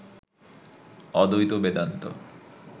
অদ্বৈত বেদান্ত